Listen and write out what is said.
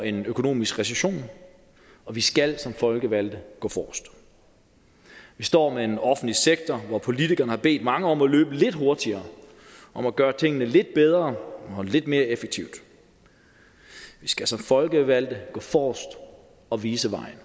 en ny økonomisk recession og vi skal som folkevalgte gå forrest vi står med en offentlig sektor hvor politikerne har bedt mange om at løbe lidt hurtigere og gøre tingene lidt bedre og lidt mere effektivt vi skal som folkevalgte gå forrest og vise vejen